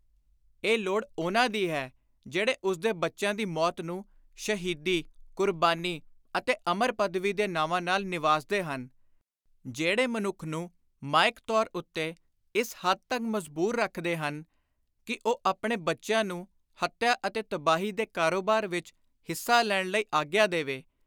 ਇਹ ਲੋੜ ਉਨ੍ਹਾਂ ਦੀ ਹੈ ਜਿਹੜੇ ਉਸਦੇ ਬੱਚਿਆਂ ਦੀ ਮੌਤ ਨੂੰ ਸ਼ਹੀਦੀ, ਕੁਰਬਾਨੀ ਅਤੇ ਅਮਰ ਪਦਵੀ ਦੇ ਨਾਵਾਂ ਨਾਲ ਨਿਵਾਜਦੇ ਹਨ; ਜਿਹੜੇ ਮਨੁੱਖ ਨੂੰ ਮਾਇਕ ਤੌਰ ਉੱਤੇ ਇਸ ਹੱਦ ਤਕ ਮਜਬੂਰ ਰੱਖਦੇ ਹਨ ਕਿ ਉਹ ਆਪਣੇ ਬੱਚਿਆਂ ਨੂੰ ਹੱਤਿਆ ਅਤੇ ਤਬਾਹੀ ਦੇ ਕਾਰੋਬਾਰ ਵਿਚ ਹਿੱਸਾ ਲੈਣ ਦੀ ਆਗਿਆ ਦੇਵੇ।